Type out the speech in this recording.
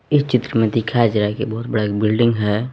इस चित्र में दिखाया जाए की बहुत बड़ा बिल्डिंग है।